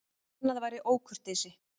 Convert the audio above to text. Annað væri ókurteisi.